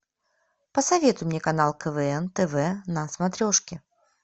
посоветуй мне канал квн тв на смотрешке